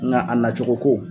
Nga a nacogo ko